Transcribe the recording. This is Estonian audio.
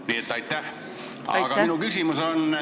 Nii et aitäh!